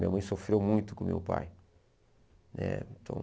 Minha mãe sofreu muito com meu pai eh então.